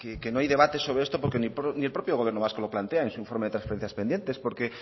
que no hay debate sobre esto porque ni el propio gobierno vasco lo plantea en su informe de transferencias pendientes porque